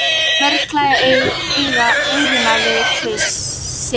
Mörgum klæjar eyrun við kvisið.